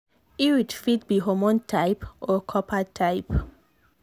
iud fit be hormone type or copper type.